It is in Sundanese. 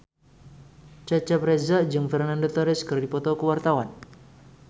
Cecep Reza jeung Fernando Torres keur dipoto ku wartawan